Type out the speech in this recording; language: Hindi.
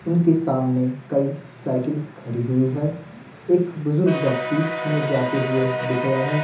उनके सामने कई साइकिल खड़ी हुई है एक बुजुर्ग व्यक्ति हमें जाते हुए दिख रहे हैं।